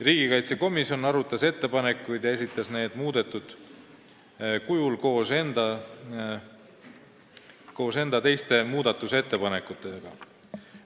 Riigikaitsekomisjon arutas ettepanekuid ja esitas need muudetud kujul koos enda teiste muudatusettepanekutega.